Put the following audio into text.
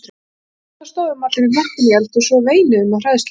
Við systurnar stóðum allar í hnapp inni í eldhúsi og veinuðum af hræðslu.